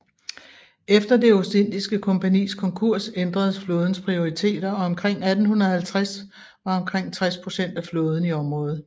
Efter det Ostindiske Kompagnis konkurs ændredes flådens prioriteter og omkring 1850 var omkring tres procent af flåden i området